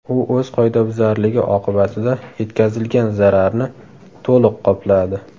U o‘z qoidabuzarligi oqibatida yetkazilgan zararni to‘liq qopladi.